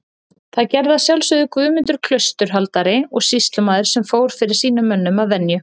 Það gerði að sjálfsögðu Guðmundur klausturhaldari og sýslumaður sem fór fyrir sínum mönnum að venju.